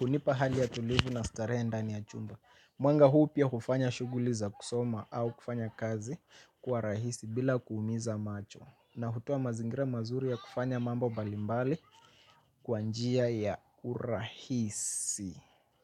hunipa hali ya utulivu na starehe ndani ya chumba. Mwanga huu pia hufanya shuguli za kusoma au kufanya kazi kuwa rahisi bila kuumiza macho. Na hutoa mazingira mazuri ya kufanya mambo mbalimbali kwa njia ya urahisi.